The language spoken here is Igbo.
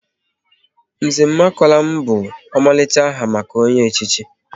Nze Nkemakonam bụ omalicha aha maka onye echichi